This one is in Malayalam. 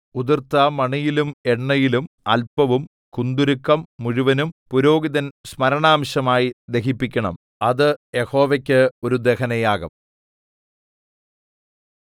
ഉതിർത്ത മണിയിലും എണ്ണയിലും അല്പവും കുന്തുരുക്കം മുഴുവനും പുരോഹിതൻ സ്മരണാംശമായി ദഹിപ്പിക്കണം അത് യഹോവയ്ക്ക് ഒരു ദഹനയാഗം